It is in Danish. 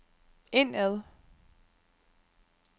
indad